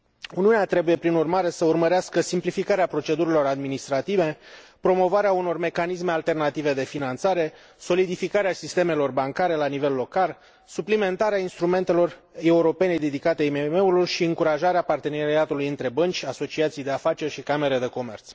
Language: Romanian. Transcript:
Uniunea trebuie, prin urmare, să urmărească simplificarea procedurilor administrative, promovarea unor mecanisme alternative de finanțare, solidificarea sistemelor bancare la nivel local, suplimentarea instrumentelor europene dedicate IMM urilor și încurajarea parteneriatului între bănci, asociații de afaceri și camere de comerț.